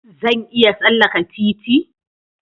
Zan iya tsallaka titi?